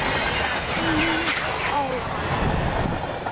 Þín, Áslaug.